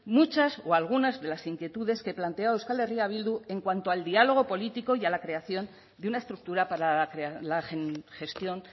muchas o algunas de las inquietudes que planteó euskal herria bildu en cuanto al diálogo político y a la creación de una estructura para la gestión